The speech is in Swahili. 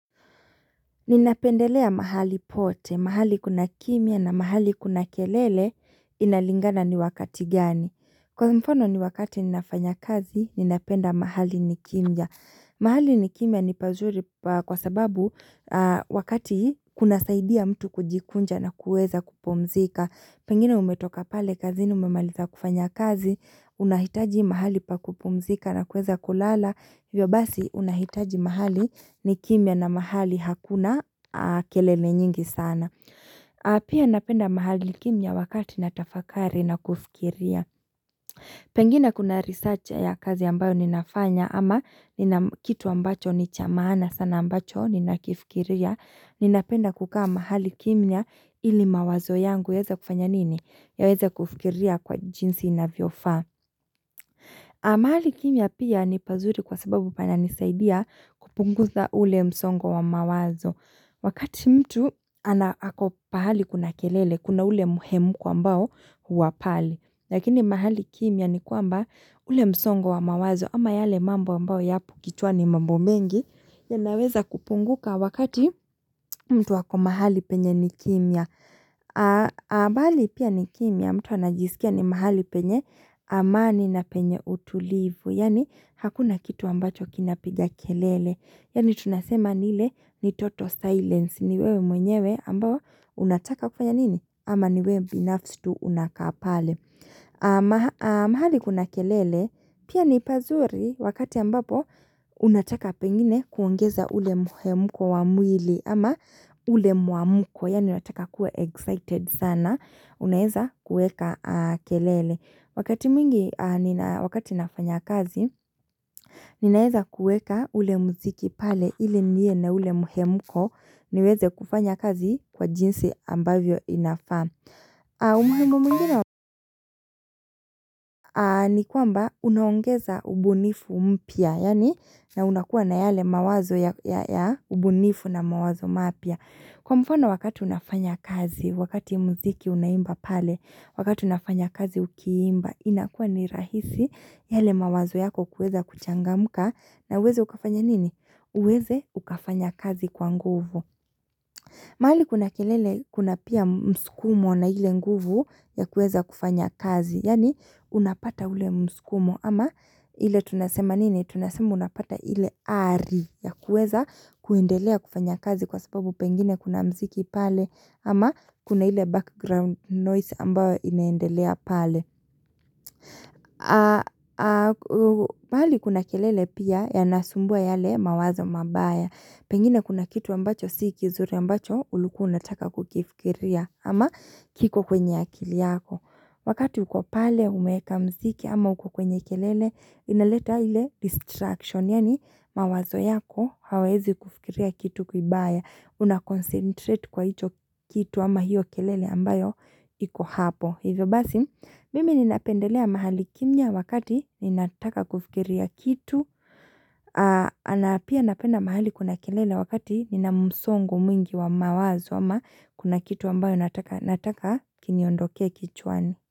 Ninapendelea mahali pote, mahali kuna kimya na mahali kuna kelele inalingana ni wakati gani. Kwa mfano ni wakati ninafanya kazi, ninapenda mahali nikimya. Mahali nikimya ni pazuri kwa sababu wakati kuna saidia mtu kujikunja na kueza kupumzika. Pengine umetoka pale kazini umemaliza kufanya kazi, unahitaji mahali pakupumzika na kueza kulala, hivyo basi unahitaji mahali nikimya na mahali hakuna kelele nyingi sana. Pia napenda mahali kimya wakati natafakari na kufikiria. Pengine kuna research ya kazi ambayo ninafanya ama kitu ambacho ni cha maana sana ambacho nina kifikiria, nina penda kukaa mahali kimya ili mawazo yangu yaeza kufanya nini? Yaweza kufikiria kwa jinsi inavyo faa. Mahali kimya pia ni pazuri kwa sababu pana nisaidia kupunguza ule msongo wa mawazo. Wakati mtu ana ako pahali kuna kelele, kuna ule muhemuko ambao huwa pale. Lakini mahali kimya ni kwamba ule msongo wa mawazo ama yale mambo ambao yapo kichwani mambo mengi yanaweza kupunguka wakati mtu hako mahali penye ni kimya. Ambali pia ni kimya mtu anajisikia ni mahali penye amani na penye utulivu Yani hakuna kitu ambacho kinapiga kelele Yani tunasema ni ile ni total silence ni wewe mwenyewe ambao unataka kufanya nini ama ni wewe binafsi tu unakaa pale Amahali kuna kelele pia ni pazuri wakati ambapo unataka pengine kuongeza ule muhemuko wa mwili ama ule muamuko, yani unataka kuwa excited sana, unaeza kueka kelele. Wakati mingi, wakati nafanya kazi, ninaeza kueka ule muziki pale ili niwe na ule muhemuko niweze kufanya kazi kwa jinsi ambavyo inafaa. Umuhengu mingino ni kwamba unaongeza ubunifu mpya, yani na unakua na yale mawazo ya ubunifu na mawazo mapya. Kwa mfano wakati unafanya kazi, wakati mziki unaimba pale, wakati unafanya kazi ukiimba, inakua ni rahisi yale mawazo yako kuweza kuchangamuka na uweze ukafanya nini? Uweze ukafanya kazi kwa nguvu. Mahali kuna kelele kuna pia mskumo na ile nguvu ya kuweza kufanya kazi, yani unapata ule mskumo ama ile tunasema nini, tunasema unapata ile aari ya kueza kuendelea kufanya kazi kwa sababu pengine kuna mziki pale ama kuna ile background noise ambayo inaendelea pale. Pahali kuna kelele pia yanasumbua yale mawazo mabaya Pengine kuna kitu ambacho si kizuri ambacho ulikuwa unataka kukifikiria ama kiko kwenye akili yako Wakati uko pale umeeka mziki ama uko kwenye kelele inaleta ile distraction Yani mawazo yako hawezi kufikiria kitu kibaya una concentrate kwa hicho kitu ama hiyo kelele ambayo iko hapo Hivyo basi, mimi ninapendelea mahali kimya wakati ninataka kufikiria kitu, napia napenda mahali kuna kelele wakati nina msongo mwingi wa mawazo ama kuna kitu ambayo nataka kiniondokea kichwani.